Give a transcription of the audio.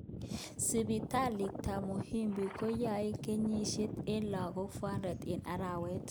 Sipitalit tab Muhimbili koyoe yegset en lagok 400 en arawet